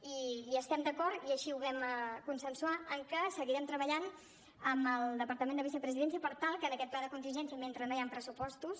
i estem d’acord i així ho vam consensuar que seguirem treballant amb el departament de vicepresidència per tal que en aquest pla de contingència i mentre no hi han pressupostos